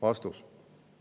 " Vastus.